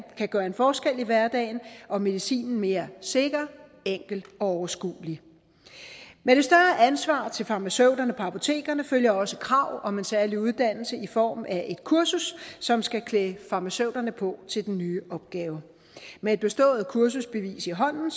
gøre en forskel i hverdagen og medicinen mere sikker enkel og overskuelig med det større ansvar til farmaceuterne på apotekerne følger også krav om en særlig uddannelse i form af et kursus som skal klæde farmaceuterne på til den nye opgave med et bestået kursusbevis i hånden